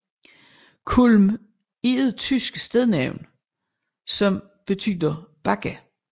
Kulm er et tysk stednavn som betyder bakke